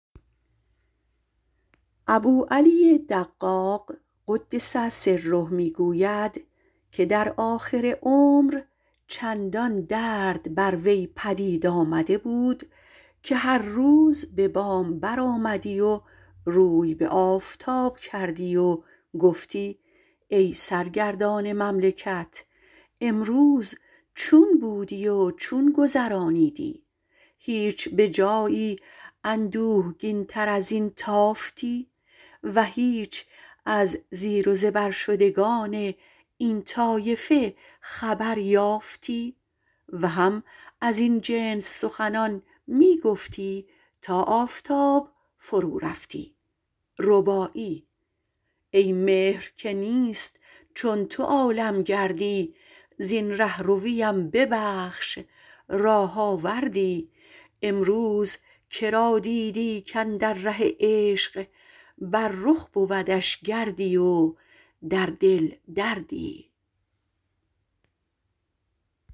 ابوعلی دقاق - قدس سره - گوید در آخر عمر چندان درد بر وی پدید آمده بود که آخر هر روز به بام برآمدی و روی بر آفتاب کردی و گفتی ای سرگردان مملکت امروز چون بودی و چون گذرانیدی هیچ جای بر اندوهگین این حدیث تافتی هیچ جای از زیر و زبر شدگان این واقعه خبر یافتی هم از این جنس می گفتی تا آفتاب فرو شدی ای مهر که نیست چون تو عالم گردی زین رهرویم ببخش راه آوردی امروز که را دیدی کاندر ره عشق بر رخ بودش گردی و در دل دردی